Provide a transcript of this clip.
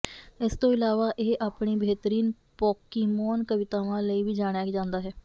ਇਸ ਤੋਂ ਇਲਾਵਾ ਇਹ ਆਪਣੀ ਬਿਹਤਰੀਨ ਪੋਕੀਮੌਨ ਕਵਿਤਾਵਾਂ ਲਈ ਵੀ ਜਾਣਿਆ ਜਾਂਦਾ ਹੈ